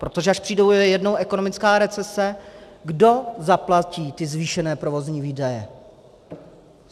Protože až přijde jednou ekonomická recese, kdo zaplatí ty zvýšené provozní výdaje?